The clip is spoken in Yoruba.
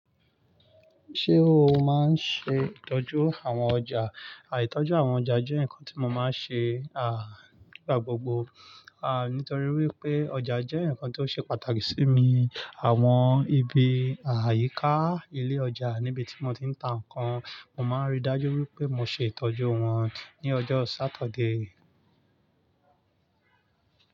Ṣé o máa ń ṣe ìtọ́jú àwọn ọjà? Àìtọ́jú àwọn ọjà jẹ́ nǹkan tí mo máa ń ṣe, à nígbà gbogbo, à nítorí wípé ọjà jẹ́ ǹkan tó ṣe pàtàkì sí mi. Àwọn ibi, à yíká ilé ọjà níbi tí mo ti ń ta nǹkan, mo máa ń rí dájú wípé mo ṣe ìtọ́jú wọn ní ọjọ́ Sáturday.